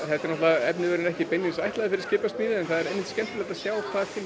efniviðurinn er kannski ekki beinlínis ætlaður fyrir skipasmíði en það er einmitt mjög skemmtilegt að sjá hvað kemur út